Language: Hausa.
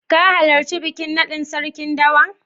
Ka halarci bikin naɗin Sarkin Dawaki?